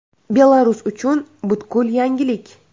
Belarus uchun butkul yangilik.